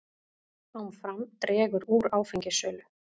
Áfram dregur úr áfengissölu